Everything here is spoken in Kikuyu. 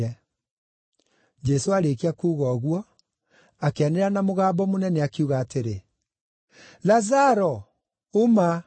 Jesũ aarĩkia kuuga ũguo, akĩanĩrĩra na mũgambo mũnene, akiuga atĩrĩ, “Lazaro, uma!”